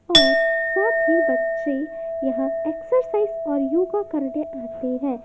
और साथ ही बच्चे यहां एक्सरसाइज और योगा करने आते हैं।